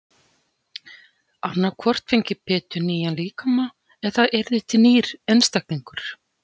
Annað hvort fengi Pétur nýjan líkama eða það yrði til nýr einstaklingur.